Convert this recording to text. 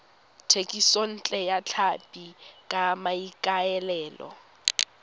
thekisontle ya tlhapi ka maikaelelo